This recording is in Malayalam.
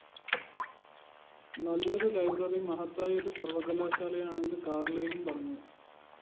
നല്ലൊരു ലൈബ്രറി മഹത്തായൊരു സര്‍വ്വകലാശാലയാണെന്ന് കാര്‍ലൈനും പറഞ്ഞു